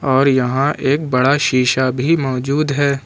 और यहां एक बड़ा शीशा भी मौजूद है।